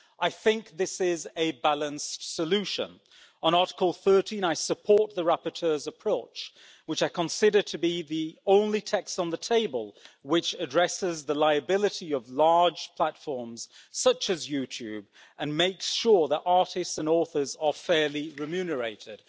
I think this is a balanced solution. On Article 13, I support the rapporteur's approach, which I consider to be the only text on the table which addresses the liability of large platforms such as YouTube, and makes sure that artists and authors are fairly remunerated.